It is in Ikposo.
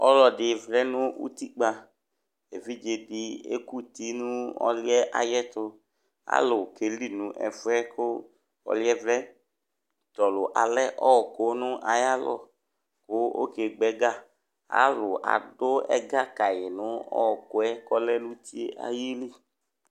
ɔluɛ di vlɛ nu utikpa évidzé di ékuti nu ɔluɛ ayɛ tu alu kéli nu ɛfoɛ kɔ luɛ vlɛ tɔlu alɛ ɔku na ayalɔ ku oké gbɛgăa alu adu ɛgă kayi nu ɔkoɛ kɔlɛ nu uti ayidu